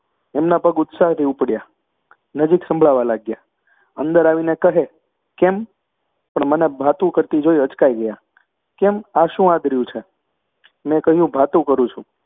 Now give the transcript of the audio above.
એમના પગ ઉત્સાહથી ઊપડ્યા, નજીક સંભળાવા લાગ્યા. અંદર આવીને કહે કેમ? પણ મને ભાતું કરતી જોઈ અચકાઈ ગયા. કેમ, આ શું આદર્યું છે? મેં કહ્યું ભાતું કરું છું